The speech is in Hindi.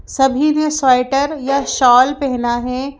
सभी ने स्वेटर या शॉल पहना है।